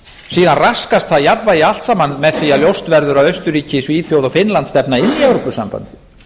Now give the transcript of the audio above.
síðan raskast það jafnvægi allt saman með því að ljóst verður að austurríki svíþjóð og finnland stefna inn í evrópusambandið